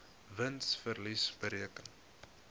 wins verlies bereken